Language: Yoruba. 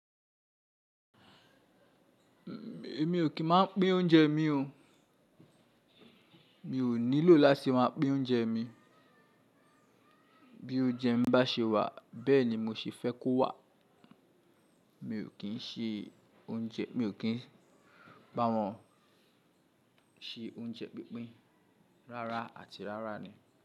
Èmi ò kí ń máa pín oúnjẹ mi o. Mi ò nílò láti máa pín oúnjẹ mi. Bí oúnjẹ mi bá ṣe wà bẹ́ẹ̀ ni mo ṣe fẹ́ kó wà. Mi ò kí ń ṣe oúnjẹ, mi ò kí ń bá wọn ṣe oúnjẹ pínpín rárá àti rárá ni.